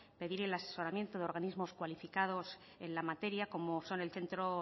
pedir el asesoramiento de organismos cualificados en la materia como son el centro